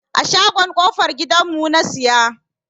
A shagon kofar gidan mu na siya.